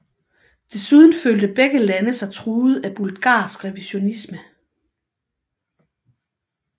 Desuden følte begge lande sig truet af bulgarsk revisionisme